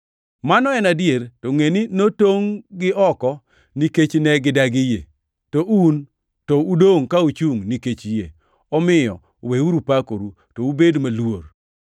Mano en adier. To ngʼeni notongʼ-gi oko nikech ne gidagi yie, to un to udongʼ ka uchungʼ nikech yie. Omiyo weuru pakoru, to ubed moluor.